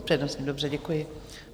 S přednostní, dobře, děkuji.